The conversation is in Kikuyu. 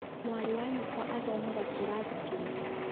mwarĩ wa nyũkwa athomaga kĩraathi kĩrĩkũ?